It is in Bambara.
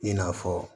I n'a fɔ